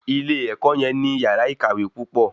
Ilé ẹ̀kọ́ yẹn ní yàrá ìkàwé púpọ̀